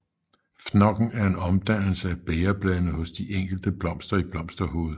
Fnokken er en omdannelse af bægerbladene hos de enkelte blomster i blomsterhovedet